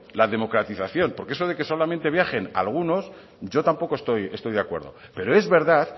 la democratización porque eso de que solamente solo viajen algunos yo tampoco estoy de acuerdo pero es verdad